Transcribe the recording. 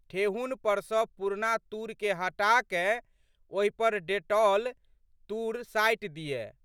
ठेहुन पर सँ पुरना तूरके हटाकए ओहि पर डेटॉलला तूर साटि दिअए।